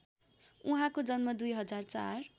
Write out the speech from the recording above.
उहाँको जन्म २००४